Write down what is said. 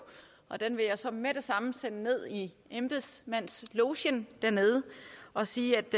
og den vil jeg så med det samme sende ned i embedsmandslogen dernede og sige at